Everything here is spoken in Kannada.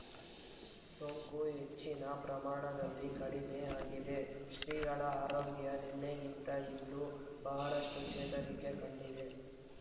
ಸೋಂಕು ಹೆಚ್ಚಿನ ಪ್ರಮಾಣದಲ್ಲಿ ಕಡಿಮೆ ಆಗಿದೆ ಶ್ರೀಗಳ ಆರೋಗ್ಯ ನಿನ್ನೆಗಿಂತ ಇಂದು ಬಹಳಷ್ಟುಚೇತರಿಕೆ ಕಂಡಿದೆ